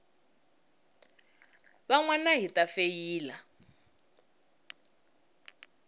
van wana hi ta feyila